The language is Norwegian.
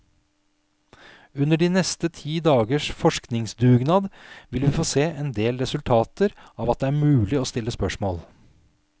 Under de neste ti dagers forskningsdugnad vil vi få se endel resultater av at det er mulig å stille spørsmål.